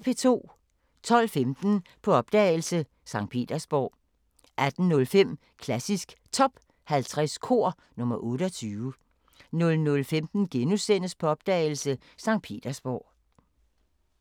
12:15: På opdagelse – Skt. Petersborg 18:05: Klassisk Top 50 Kor – nr. 28 00:15: På opdagelse – Skt. Petersborg *